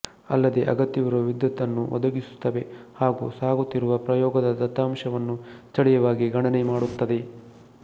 ಅಲ್ಲದೇ ಅಗತ್ಯವಿರುವ ವಿದ್ಯುತ್ ಅನ್ನು ಒದಗಿಸುತ್ತವೆ ಹಾಗು ಸಾಗುತ್ತಿರುವ ಪ್ರಯೋಗದ ದತ್ತಾಂಶವನ್ನು ಸ್ಥಳೀಯವಾಗಿ ಗಣನೆ ಮಾಡುತ್ತದೆ